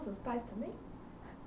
Seus pais também?